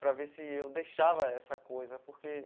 Para ver se eu deixava essa coisa, porque...